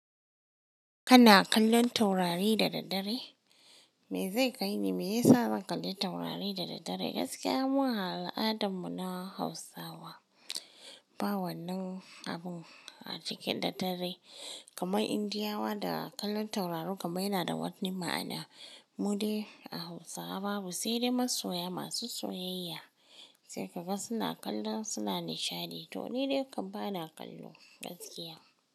Kana kallon taurari da daddare? Me zai kai ni, me yasa zan kalli taurari da daddare? Gaskiya mun a al'adarmu na Hausawa ba wannan abun a cikin daddare, kamar Indiyawa da kallon taurari kamar yana da wani ma'ana. Mu dai a Hausawa babu, sai dai masoya masu soyayya sai kaga suna kallo suna nishadi to ni dai ban bana kallo gaskiya.